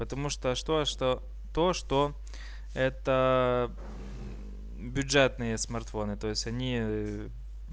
потому что а что а что то что это бюджетные смартфоны то есть они